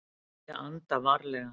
Ég anda varlega.